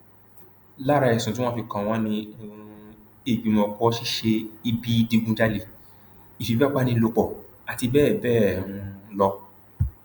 lára ẹsùn tí wọn fi kàn wọn ni um ìgbìmọpọ ṣíṣe ibi ìdígunjalè ìfipábánilòpọ àti bẹẹ bẹẹ um lọ